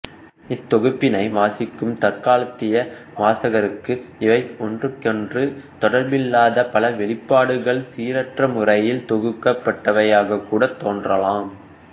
இத்தொகுப்பினை வாசிக்கும் தற்காலத்திய வாசகருக்கு இவை ஒன்றுக்கொன்று தொடர்பில்லாத பல வெளிப்பாடுகள் சீரற்ற முறையில் தொகுக்கப்பட்டவையாகக்கூடத் தோன்றலாம்